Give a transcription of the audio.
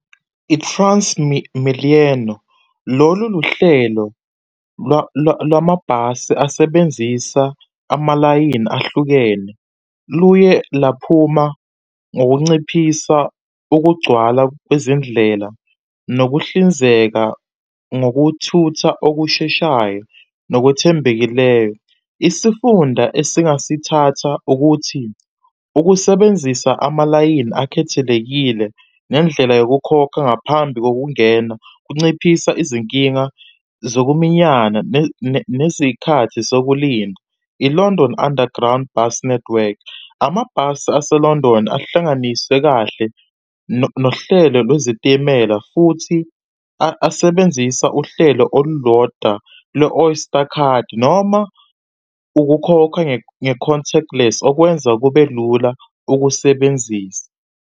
I-TransMilenio lolu luhlelo lwamabhasi asebenzisa amalayini ahlukene. Luye laphuma ngokunciphisa ukugcwala kwezindlela nokuhlinzeka ngokuthutha okusheshayo nokwethembekileyo. Isifunda esingasithatha ukuthi ukusebenzisa amalayini akhethelekile nendlela yokukhokha ngaphambi kokungena, kunciphisa izinkinga zokuminyana nezikhathi sokulinda. I-London Underground Bus Network, amabhasi ase-London ahlanganisiwe kahle nohlelo lwezitimela futhi asebenzisa uhlelo olulodwa lo-Oyster card noma ukukhokha nge-contactless, okwenza kube lula ukusebenzisa.